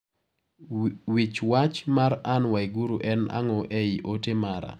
Wich wach mar Ann Waiguru en ang'o ei ote mara?